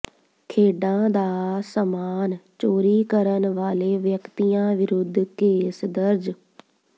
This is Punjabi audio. ਖੇਡਾਂ ਦਾ ਸਾਮਾਨ ਚੋਰੀ ਕਰਨ ਵਾਲੇ ਵਿਅਕਤੀਆਂ ਵਿਰੁੱਧ ਕੇਸ ਦਰਜ